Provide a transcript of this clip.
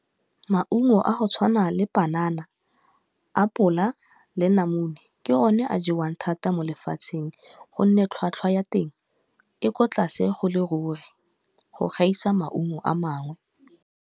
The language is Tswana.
Maungo a go tshwana le panana, apola, le namune ke o ne a jewang thata mo lefatsheng gonne tlhwatlhwa ya teng e ko tlase go le ruri go gaisa maungo a mangwe.